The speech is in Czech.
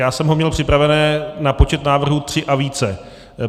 Já jsem ho měl připravené na počet návrhů tři a více.